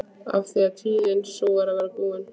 Af því tíðin sú er að verða búin.